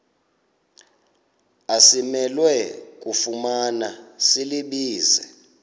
asimelwe kufumana silibize